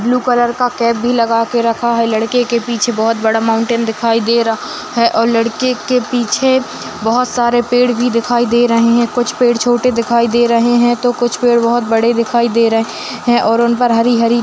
blue colour का cape भी लगा के रखा है लड़के के पीछे बहुत बड़ा माउंटेऩ दिखाइ दे रहा है और लड़के के पीछे बहुत सारे पेड़ भी दिखाइ दे रहे है कुछ पेड़ छोटे दिखाई दे रहे हैं तो कुछ पेड़ बहुत बड़े दिखाइ दे रहे हैं और उन पर हरी-हरी --